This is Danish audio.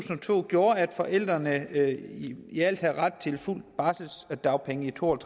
to gjorde at forældrene i alt havde ret til fuld barselsdagpenge i to og